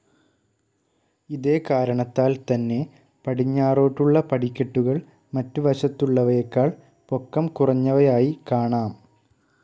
ഇതേകാരണത്താൽ തന്നെ പടിഞ്ഞാറോട്ടുള്ള പടിക്കെട്ടുകൾ മറ്റു വശത്തുള്ളവയെക്കാൾ പൊക്കം കുറഞ്ഞവയായി കാണാം.